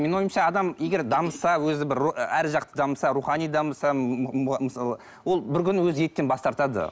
менің ойымша адам егер дамыса өзі бір ар жақты дамыса рухани дамыса мысалы ол бір күні өзі еттен бас тартады